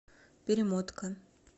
перемотка